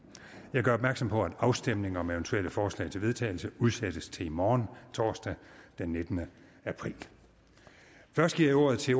jeg gør opmærksom på at afstemning om eventuelle forslag til vedtagelse udsættes til i morgen torsdag den nittende april først giver jeg ordet til